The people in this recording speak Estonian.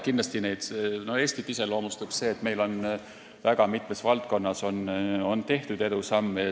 Eestit iseloomustab see, et meil on väga mitmes valdkonnas tehtud edusamme.